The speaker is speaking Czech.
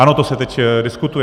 Ano, to se teď diskutuje.